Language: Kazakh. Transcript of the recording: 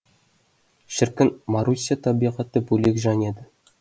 шіркін маруся табиғаты бөлек жан еді